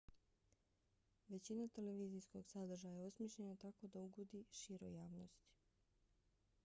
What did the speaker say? većina televizijskog sadržaja je osmišljena tako da ugodi široj javnosti